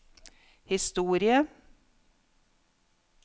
historie